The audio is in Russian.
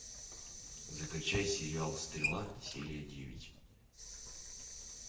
закачай сериал стрела серия девять